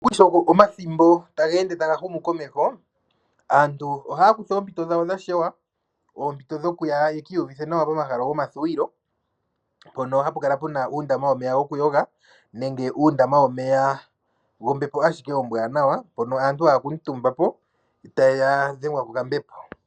Omathimbo sho taga ende gu uka komeho aantu ohaya kutha oompito dhawo dha shewa. Oompito dhokuya ye iyuvithe nawa pomahala gomathuwilo. Mpono hapu kala puna uundama womeya gokuyoga nenge uundama womeya wombepo ashike ombwaanawa mpono aantu haya kuutumba po eta dhengwa kokambepo.